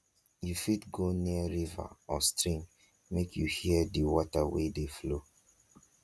you fit go near river or stream make you hear di water wey dey flow